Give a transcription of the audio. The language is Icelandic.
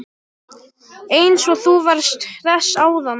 Eins og þú varst hress áðan!